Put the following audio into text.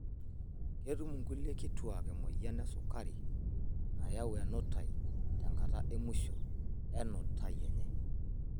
Ketum nkulie kituak emoyian esukari nayau enutai tenkata emusho enutai enye.